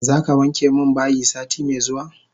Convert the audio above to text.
Zaka wanke min bayi sati me zuwa?